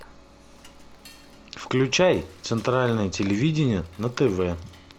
включай центральное телевидение на тв